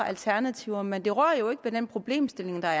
alternativer men det rører jo ikke ved den problemstilling der er